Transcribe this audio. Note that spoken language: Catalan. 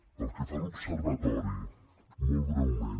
pel que fa a l’observatori molt breument